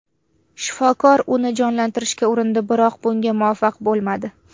Shifokor uni jonlantirishga urindi, biroq bunga muvaffaq bo‘lmadi.